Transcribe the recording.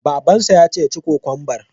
Babansa ya ce ya ci kokwambar!